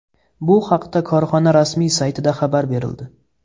Bu haqda korxona rasmiy saytida xabar berildi .